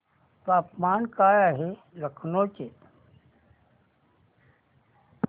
तापमान काय आहे लखनौ चे